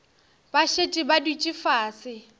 ba šetše ba dutše fase